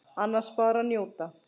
Annars bara að njóta.